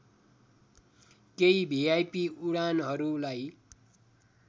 केही भिआइपी उडानहरूलाई